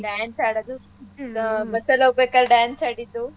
Dance ಆಡದು ಹ್ಮ್ bus ಅಲ್ ಹೋಗ್ಬೇಕಾದ್ರೆ dance ಆಡಿದ್ದು.